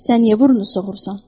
Sən niyə burnunu soxursan?